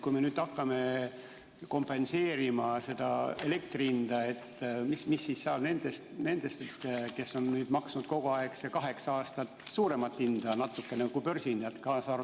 Kui me hakkame kompenseerima elektri hinda, mis siis saab nendest, kes on maksnud kogu aeg, see kaheksa aastat natukene suuremat hinda kui börsihind?